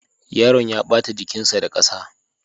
Yaron ya ɓata jikinsa da ƙasa.